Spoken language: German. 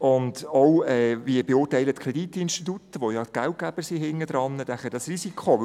– Es fragt sich auch, wie die Kreditinstitute, die ja die Geldgeber dahinter sind, das Risiko beurteilen.